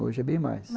Hoje é bem mais.